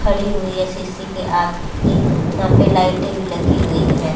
खड़ी हुई है खिड़की के आगे वहां पर लाइटे लगी हुई है।